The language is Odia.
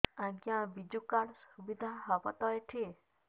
ଆଜ୍ଞା ବିଜୁ କାର୍ଡ ସୁବିଧା ହବ ତ ଏଠି